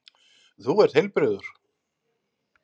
Þú ert heilbrigður.